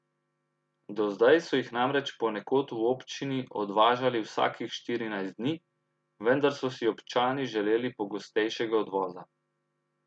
Do zdaj so jih namreč ponekod v občini odvažali vsakih štirinajst dni, vendar so si občani želeli pogostejšega odvoza.